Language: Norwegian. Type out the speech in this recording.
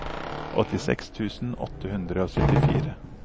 åttiseks tusen åtte hundre og syttifire